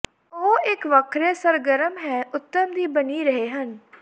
ਉਹ ਇੱਕ ਵੱਖਰੇ ਸਰਗਰਮ ਹੈ ਉਤਮ ਦੀ ਬਣੀ ਰਹੇ ਹਨ